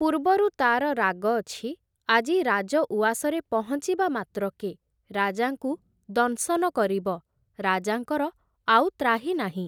ପୂର୍ବରୁ ତା’ର ରାଗ ଅଛି, ଆଜି ରାଜ ଉଆସରେ ପହଁଚିବା ମାତ୍ରକେ ରାଜାଙ୍କୁ ଦଂଶନ କରିବ, ରାଜାଙ୍କର ଆଉ ତ୍ରାହି ନାହିଁ ।